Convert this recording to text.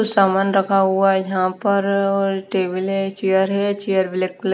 कुछ सामान रखा हुआ है। जहां पर और टेबल चेयर है चेयर ब्लैक कलर --